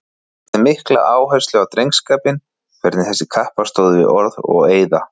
Hann lagði mikla áherslu á drengskapinn, hvernig þessir kappar stóðu við orð og eiða.